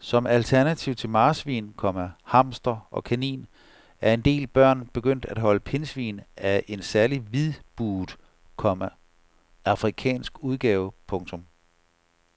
Som alternativ til marsvin, komma hamster og kanin er en del børn begyndt at holde pindsvin af en særlig hvidbuget, komma afrikansk udgave. punktum